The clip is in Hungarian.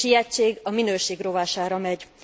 A sietség a minőség rovására megy.